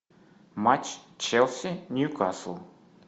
матч челси ньюкасл